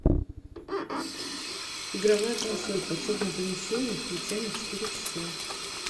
игровая консоль в подсобном помещении включай на четыре часа